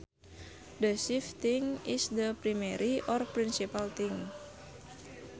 The chief thing is the primary or principal thing